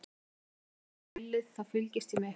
Meðan ég var að hita grillið, þá fylgdist ég með ykkur.